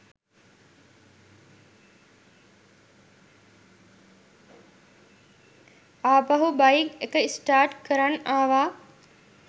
ආපහු බයික් එක ස්ටාර්ට් කරන් ආවා